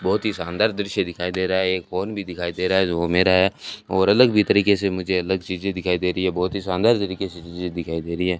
बहुत ही शानदार दृश्य दिखाई दे रहा है एक फोन भी दिखाई दे रहा है जो वो मेरा है और अलग भी तरीके से मुझे अलग चीजे दिखाई दे रही हैं बहुत ही शानदार तरीके से चीजें दिखाई दे रही हैं।